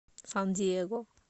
сан диего